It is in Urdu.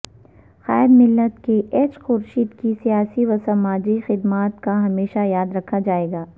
قائد ملت کے ایچ خورشید کی سیاسی وسماجی خدمات کا ہمیشہ یاد رکھا جائے گا